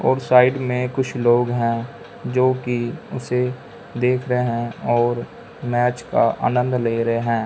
और साइड में कुछ लोग हैं जोकि उसे देख रहे हैं और मैच का आनंद ले रहे हैं।